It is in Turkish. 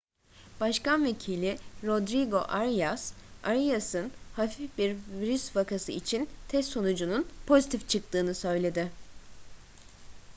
başkan vekili rodrigo arias arias'ın hafif bir virüs vakası için test sonucunun pozitif çıktığını söyledi